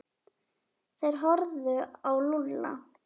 Þeir horfðu á Lúlla.